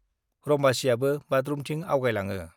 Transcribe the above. रम्बसीयाबो बाथरुमथिं आगयलाङो।